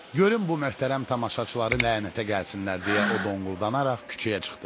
Görüm bu möhtərəm tamaşaçıları lənətə gəlsinlər deyə o donquldana-donquldana küçəyə çıxdı.